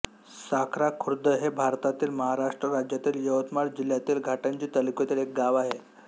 साखरा खुर्द हे भारतातील महाराष्ट्र राज्यातील यवतमाळ जिल्ह्यातील घाटंजी तालुक्यातील एक गाव आहे